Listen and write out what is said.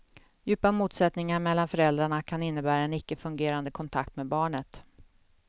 Djupa motsättningar mellan föräldrarna kan innebära en icke fungerande kontakt med barnet.